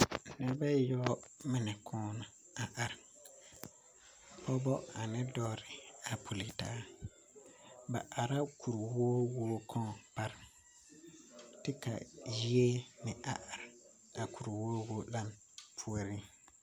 Noba ayoɔbo mine kaŋ la are Pɔgeba ane dɔbɔ puleŋ taa ba are la kuri wowo kaŋa pare kyɛ ka yie meŋ are are a kuri wowo onaŋ kaŋ puoriŋ